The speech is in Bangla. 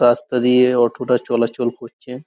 রাস্তা দিয়ে অটো -টা চলাচল করছে।